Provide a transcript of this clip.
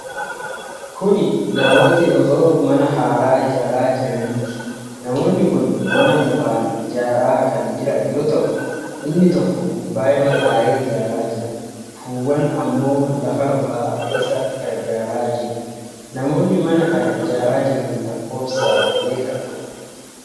Kun namooti osoo mana haaraa ijaaraa jiraniiti. Namoonni kun mana mukaan ijaaraa kan jiran yoo ta'u, Inni tokko gubbaa irra taa'ee ijaaraa jira. Kuuwwan ammoo lafarraa isa gargaaraa jiru. Namoonni mana kana ijaaraa jiran lakkoofsaan meeqa ta'u?